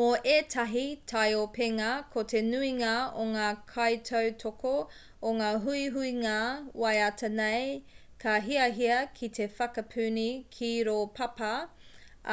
mō ētahi taiopenga ko te nuinga o ngā kaitautoko o ngā huihuinga waiata nei ka hiahia ki te whakapuni ki rō papa